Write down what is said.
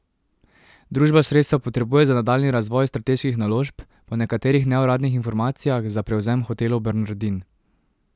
Družba sredstva potrebuje za nadaljnji razvoj strateških naložb, po nekaterih neuradnih informacijah za prevzem Hotelov Bernardin.